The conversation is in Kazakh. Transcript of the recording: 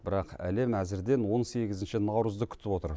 бірақ әлем әзірден он сегізінші наурызды күтіп отыр